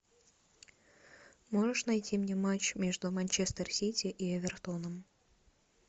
можешь найти мне матч между манчестер сити и эвертоном